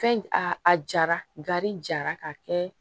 Fɛn a a jara gari jara ka kɛ